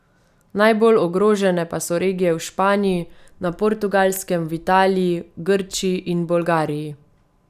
Najbolj ogrožene pa so regije v Španiji, na Portugalskem, v Italiji, Grčiji in Bolgariji.